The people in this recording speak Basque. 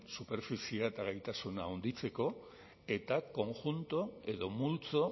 superfiziea eta gaitasuna handitzeko eta konjunto edo multzo